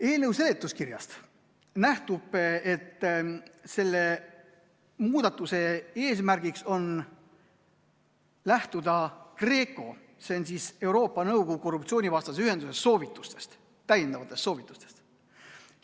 Eelnõu seletuskirjast nähtub, et selle muudatuse eesmärk on lähtuda GRECO, see on Euroopa Nõukogu korruptsioonivastase ühenduse soovitustest, täiendavatest soovitustest.